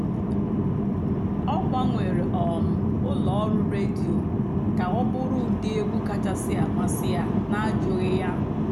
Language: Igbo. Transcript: ọ́ gbànwèré um ụ́lọ́ ọ̀rụ́ rédíò kà ọ̀ bụ́rụ́ ụ́dị́ ègwú kàchàsị́ àmásị́ yá n'àjụ́ghị́ yá.